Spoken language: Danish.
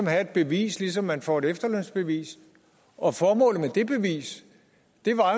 have et bevis ligesom man får et efterlønsbevis og formålet med det bevis var